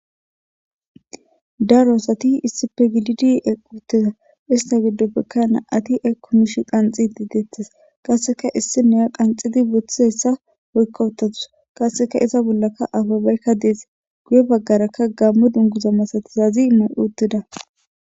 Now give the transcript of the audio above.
daroasati issipe gididi eqquttida ista giddoppekka na ati ay komish qanxi diideettes qasseka issi neya qanxidi boththizeyssa hoykka uttatus qasseka iza bollaka ababeykka dees guye baggarakka gammo dunguza masatizazi ma7uttida